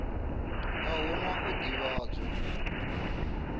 a hu na u ḓivhadzwa